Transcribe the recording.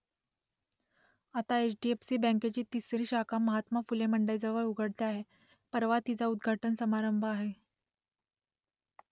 आता H . D . F . C . बँकेची तिसरी शाखा महात्मा फुले मंडईजवळ उघडते आहे , परवा तिचा उद्घाटन समारंभ आहे